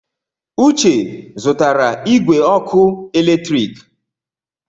Uche zụtara igwe ọkụ eletrik.